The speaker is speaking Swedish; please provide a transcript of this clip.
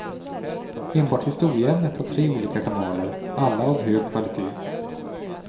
Enbart historieämnet har tre olika kanaler, alla av hög kvalitet.